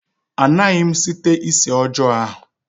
Anaghị m site isi ọjọọ ahụ